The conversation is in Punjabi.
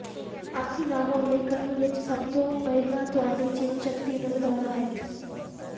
ਆਲਸੀ ਨਾ ਹੋਣ ਲਈ ਕ੍ਰਮ ਵਿੱਚ ਸਭ ਤੋਂ ਪਹਿਲਾਂ ਤੁਹਾਡੇ ਜੀਵਨਸ਼ਕਤੀ ਨੂੰ ਵਧਾਉਣਾ ਹੈ